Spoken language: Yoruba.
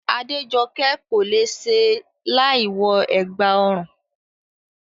Adéjokẹ́ kò le è ṣe láìwọ ẹ̀gbà ọrùn